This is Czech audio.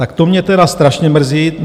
Tak to mě tedy strašně mrzí.